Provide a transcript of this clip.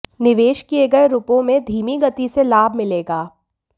निवेश किए गए रुपयों में धीमी गति से लाभ मिलेगा